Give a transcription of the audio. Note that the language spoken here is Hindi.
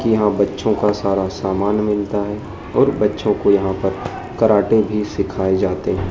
यहां बच्चों का सारा सामान मिलता है और बच्चों को यहां पर कराटे भी सिखाए जाते--